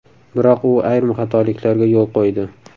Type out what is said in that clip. Biroq u ayrim xatoliklarga yo‘l qo‘ydi.